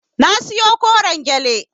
Na siyo koren gyale.